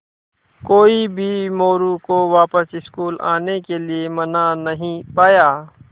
कोई भी मोरू को वापस स्कूल आने के लिये मना नहीं पाया